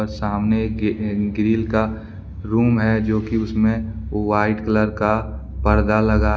सामने के अह ग्रिल का रूम है जो कि उसमें व्हाइट कलर का पर्दा लगा--